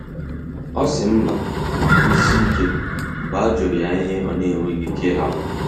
O si mba ma kwusie ike mgbe ajuru ya ihe ona enweghi ike ihapu